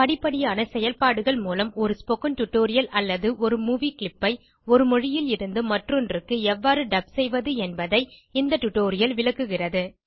படிப்படியான செயல்பாடுகள் மூலம் ஒரு ஸ்போக்கன் டியூட்டோரியல் அல்லது மூவி கிளிப் ஐ ஒரு மொழியிலிருந்து மற்றொன்றுக்கு எவ்வாறு டப் செய்வது என்பதை இந்த டியூட்டோரியல் விளக்குகிறது